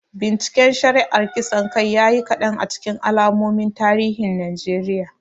Binciken shari'ar kisan kai ya yi kadan a cikin al'ummomin tarihin Najeriya.